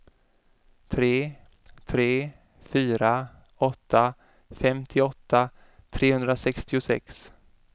tre tre fyra åtta femtioåtta trehundrasextiosex